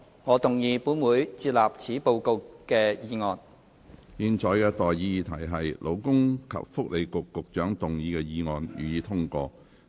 我現在向各位提出的待議議題是：勞工及福利局局長動議的議案，予以通過。